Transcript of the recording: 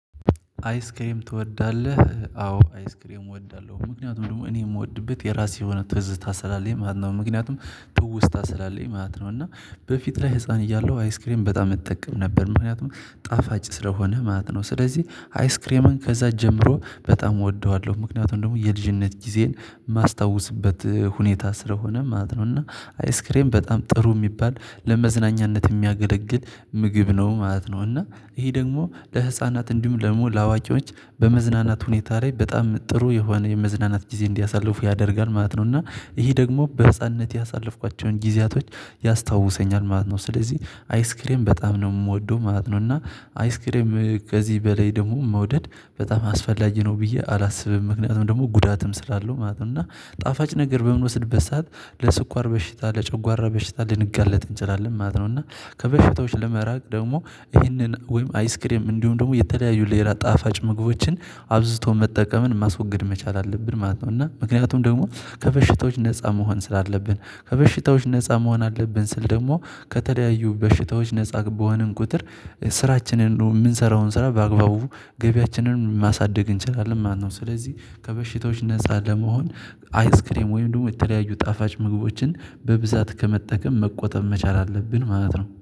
አይስ ክሬም ትወዳለህ? አዎ አይስ ክሬም እወዳለሁ ምክንያቱም ደግሞ እኔ የምወድበት የራሴ የሆነ ትዝታ ሰላለኝ ማለት ነው። ምክንያቱም ትውስታ ስላለኝ ማለት ነው። እና በፊት ላይ ህፃን እያለሁ አይስክሬን በጣም እጠቀም ነበር ምክንያቱም ጣፋጭ ስለሆነ ማለት ነው። ስለዚህ አይስ ክሬምን ከዚያ ጀምሮ በጣም እወደዋለሁ። ምክንያቱም ደግሞ የልጅነት ጊዜን የማስታውስበት ሁኔታ ስለሆነ ማለት ነው። እና አይስክሬም በጣም ጥሩ የሚባል ለመዝናኛነት የሚያገለግል ምግብ ነው ማለት ነው። እና ይሄ ደግሞ ለህፃናት እንዲሁም ደግሞ ለአዋቅዎች በመዝናናት ሁኔታ ላይ በጣም ጥሩ የሆነ የመዝናናት ጊዜ እንዲያሳልፉ ያደርጋል ማለት ነው። እና ይሄ ደግሞ በህፃንነት ያሳለፍኳቸውን ጊዜያቶች ያስታውሰኛል ማለት ነው። ስለዚህ አይስክሬም በጣም ነው የምወደው ማለት ነው። እና አይስክሪም ከዚህ በላይ ደግሞ መውደድ በጣም አስፈላጊ ነው ብዬ አላስብም ምክንያቱም ደግሞ ጉዳትም ስላለው ማለት ነው። እና ጣፋጭ ነገር በምንወስድበት ሰዓት ለስኳር በሽታ ለጨጓራ በሽታ ልንጋለጥ እንችላለን ማለት ነው። እና ከበሽታዎች ለመራቅ ደግሞ ይህንን ወይም አይስክሬም እንዲሁም ደግሞ የተለያዩ ሌላ ጣፋጭ ምግቦችን አብዝቶ መጠቀምን ማስወገድ መቻል አለብን ማለት ነው። እና ምክንያቱም ደግሞ ከበሽቶች ነፃ መሆን ስላለብን ከበሽታዎች ነፃ መሆን አለብን። ስል ደግሞ ከተለያዩ በሽታዎች ነፃ በሆንን ቁጥር ስራችንን ደግሞ የምንሰራውን ስራ በአግባቡ ገቢያችንን ማሳደግ እንችላለን ማለት ነው። ስለዚህ ከበሽታዎች ነፃ ለመሆን አይስክሬም ወይም ደግሞ የተለያዩ ጣፋጭ ምግቦችን በብዛት ከመጠቀም መቆጠብ መቻል አለብን ማለት ነው